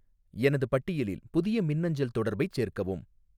எனது பட்டியலில் புதிய மின்னஞ்சல் தொடர்பைச் சேர்க்கவும்